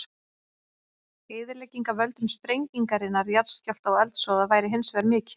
Eyðilegging af völdum sprengingarinnar, jarðskjálfta og eldsvoða væri hins vegar mikil.